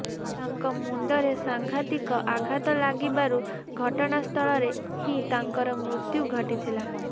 ତାଙ୍କ ମୁଣ୍ଡରେ ସାଙ୍ଘାତିକ ଆଘାତ ଲାଗିବାରୁ ଘଟଣାସ୍ଥଳରେ ହିଁ ତାଙ୍କର ମୃତ୍ୟୁ ଘଟିଥିଲା